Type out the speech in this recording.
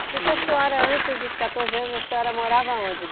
O que que a senhora, antes dos quatorze anos, a senhora morava onde?